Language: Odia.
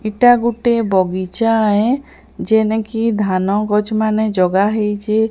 ଇଟା ଗୁଟେ ବଗିଚାହେ ଜେନେକି ଧାନ ଗଛ୍ ମାନେ ଜଗା ହେଇଚେ।